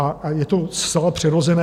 A je to zcela přirozené.